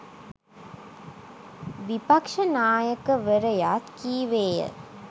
විපක්ෂ නායකවරයා කීවේය.